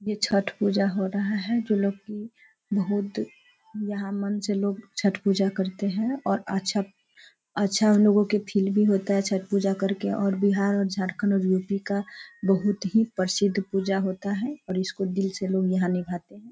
ये छठ पूजा हो रहा है जो लोग की बहुत यहाँ मन से लोग छठ पूजा करते है और अच्छा-अच्छा लोगों को फ़ील भी होता है छठ पूजा करके और बिहार और झरकंद और यू.पी. का बहुत ही प्रसिद्ध पूजा होता है और इसको दिल से लोग यहाँ निभाते है।